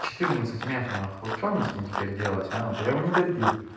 четырнадцать мефа нахуй вот что мне с ним теперь делать а вот я его не добил